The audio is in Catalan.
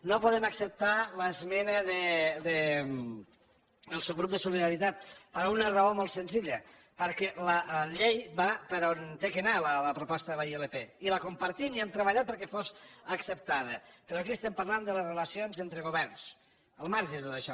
no podem acceptar l’esmena del subgrup de solidaritat per una raó molt senzilla perquè la llei va per on ha de anar la proposta de la ilp i la compartim i hem treballat perquè fos acceptada però aquí estem parlant de les relacions entre governs al marge de tot això